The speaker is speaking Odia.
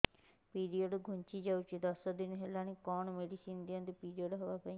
ପିରିଅଡ଼ ଘୁଞ୍ଚି ଯାଇଛି ଦଶ ଦିନ ହେଲାଣି କଅଣ ମେଡିସିନ ଦିଅନ୍ତୁ ପିରିଅଡ଼ ହଵା ପାଈଁ